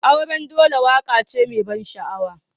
Auren dole waƙa ce mai ban sha'awa.